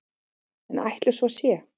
En ætli svo sé?